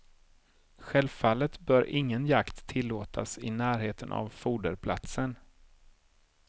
Självfallet bör ingen jakt tillåtas i närheten av foderplatsen.